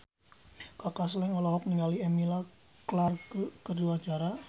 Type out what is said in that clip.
Kaka Slank olohok ningali Emilia Clarke keur diwawancara